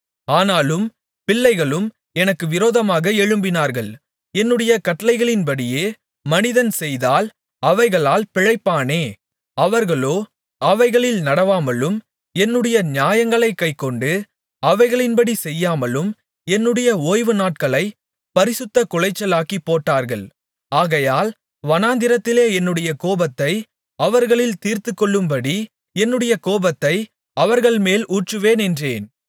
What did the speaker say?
ஆனாலும் பிள்ளைகளும் எனக்கு விரோதமாக எழும்பினார்கள் என்னுடைய கட்டளைகளின்படியே மனிதன் செய்தால் அவைகளால் பிழைப்பானே அவர்களோ அவைகளில் நடவாமலும் என்னுடைய நியாயங்களைக் கைக்கொண்டு அவைகளின்படி செய்யாமலும் என்னுடைய ஓய்வுநாட்களைப் பரிசுத்தக்குலைச்சலாக்கிப் போட்டார்கள் ஆகையால் வனாந்திரத்திலே என்னுடைய கோபத்தை அவர்களில் தீர்த்துக்கொள்ளும்படி என்னுடைய கோபத்தை அவர்கள்மேல் ஊற்றுவேன் என்றேன்